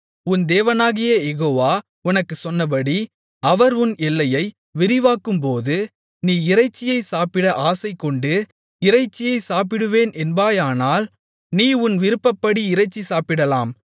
உன் தேவனாகிய யெகோவா உனக்குச் சொன்னபடி அவர் உன் எல்லையை விரிவாக்கும்போது நீ இறைச்சியைச் சாப்பிட ஆசைகொண்டு இறைச்சி சாப்பிடுவேன் என்பாயானால் நீ உன் விருப்பப்படி இறைச்சி சாப்பிடலாம்